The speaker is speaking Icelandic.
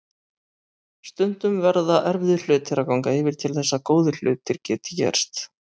Stundum verða erfiðir hlutir að ganga yfir til þess að góðir hlutir geti gerst.